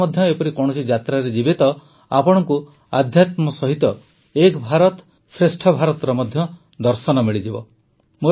ଆପଣ ମଧ୍ୟ ଏପରି କୌଣସି ଯାତ୍ରାରେ ଯିବେ ତ ଆପଣଙ୍କୁ ଆଧ୍ୟାତ୍ମ ସହିତ ଏକ ଭାରତଶ୍ରେଷ୍ଠ ଭାରତର ମଧ୍ୟ ଦର୍ଶନ ମିଳିବ